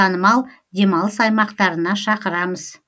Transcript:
танымал демалыс аймақтарына шақырамыз